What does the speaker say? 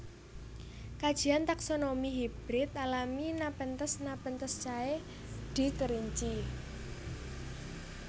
Kajian taksonomi hibrid alami Nepenthes Nepenthaceae di Kerinci